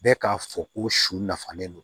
Bɛɛ k'a fɔ ko su nafalen don